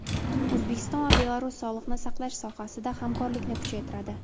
O‘zbekiston va Belarus sog‘liqni saqlash sohasida hamkorlikni kuchaytiradi.